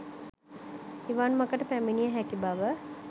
නිවන් මගට පැමිණිය හැකි බව